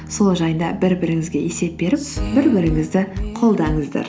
сол жайында бір біріңізге есеп беріп бір біріңізді қолдаңыздар